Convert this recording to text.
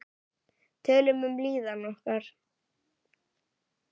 Tölum um líðan okkar.